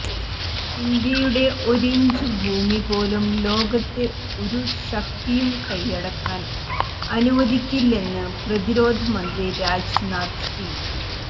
ഇന്ത്യയുടെ ഒരിഞ്ച് ഭൂമിപോലും ലോകത്തെ ഒരു ശക്തിയും കയ്യടക്കാൻ അനുവദിക്കില്ലെന്ന് പ്രതിരോധമന്ത്രി രാജ്നാഥ് സിങ്